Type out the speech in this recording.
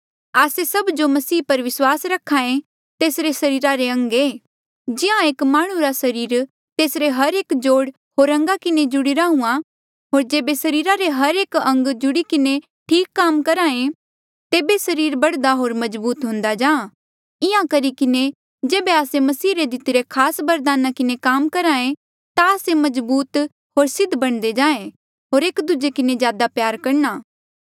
आस्से सभ जो मसीह पर विस्वास रखे तेसरे सरीरा रे अंग ऐें जिहां एक माह्णुं रा सरीर तेसरे हर एक जोड़ होर अंगा किन्हें जुड़ीरा हुआ होर जेबे सरीरा रे हर एक अंग जुड़ी किन्हें ठीक काम करहा तेबे सरीर बढ़दा होर मजबूत हुंदा जाहाँ इंहां करी किन्हें जेबे आस्से मसीह रे दितिरे खास बरदाना किन्हें काम करहे ता आस्से मजबूत होर सिद्ध बणदे जाए होर एक दूजे किन्हें ज्यादा प्यार करणा